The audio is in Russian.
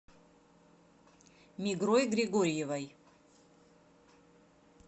мигрой григорьевой